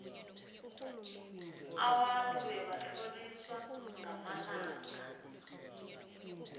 abantu bebatlhorisawa ngamalanga